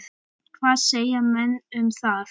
Hvað segja menn um það?